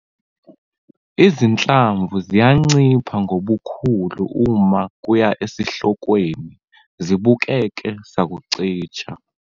Izinhlamvu ziyancipha ngobukhulu uma kuya esihlokweni, zibukeke sakucija.